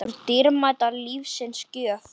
okkur dýrmæt lífsins gjöf.